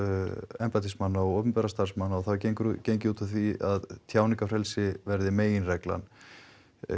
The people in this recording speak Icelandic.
embættismanna og opinberra starfsmanna og það er gengið gengið út frá því að tjáningarfrelsi verði meginreglan